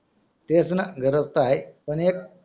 तेचना गरज तर आहे पण एक